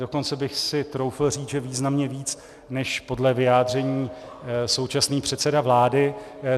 Dokonce bych si troufl říct, že významně víc než podle vyjádření současný předseda vláda.